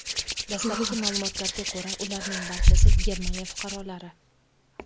Dastlabki ma’lumotlarga ko‘ra, ularning barchasi Germaniya fuqarolari.